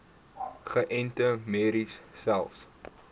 geënte merries selfs